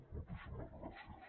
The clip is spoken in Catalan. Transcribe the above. moltíssimes gràcies